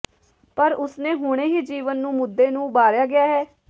ਪਰ ਉਸ ਨੇ ਹੁਣੇ ਹੀ ਜੀਵਨ ਨੂੰ ਮੁੱਦੇ ਨੂੰ ਉਭਾਰਿਆ ਗਿਆ ਹੈ